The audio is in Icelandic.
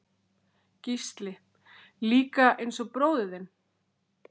Gísli: Líka eins og bróðir þinn?